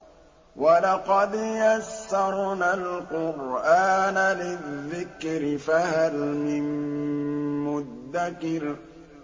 وَلَقَدْ يَسَّرْنَا الْقُرْآنَ لِلذِّكْرِ فَهَلْ مِن مُّدَّكِرٍ